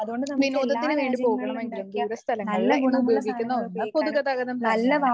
വിനോദത്തിനുവേണ്ടി പോകണമെങ്കിലും ദൂരസ്ഥലങ്ങളില് ഇന്ന് ഉപയോഗിക്കുന്ന ഒന്ന് പൊതുഗതാഗതം തന്നെയാണ്.